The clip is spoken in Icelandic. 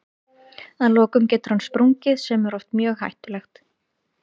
Að lokum getur hann sprungið sem er oft mjög hættulegt.